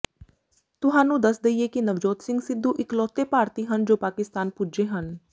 ਤੁਹਾਨੂੰ ਦੱਸ ਦਈਏ ਕਿ ਨਵਜੋਤ ਸਿੰਘ ਸਿੱਧੂ ਇਕਲੌਤੇ ਭਾਰਤੀ ਹਨ ਜੋ ਪਾਕਿਸਤਾਨ ਪੁੱਜੇ ਹਨ